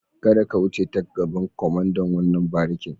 Kada ka wuce ta gaban kwamandan wannan barikin.